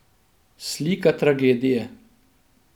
Slika tragedije.